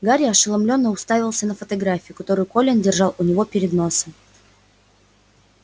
гарри ошеломлённо уставился на фотографию которую колин держал у него перед носом